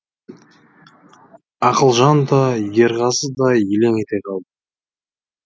ақылжан да ерғазы да елең ете қалды